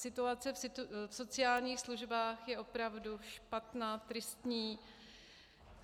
Situace v sociálních službách je opravdu špatná, tristní.